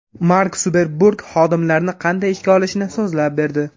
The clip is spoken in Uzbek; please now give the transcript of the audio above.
Mark Sukerberg xodimlarni qanday ishga olishini so‘zlab berdi.